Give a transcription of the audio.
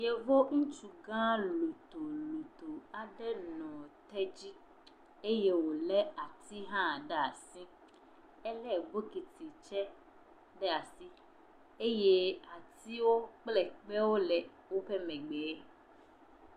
Yevo ŋutsugã lotoloto aɖe nɔ te dzi eye wòlé atizɔti hã ɖaa si. Elé bokiti tsɛ ɖe asi eye atiwo kple kpewo le woƒe megbeɛ.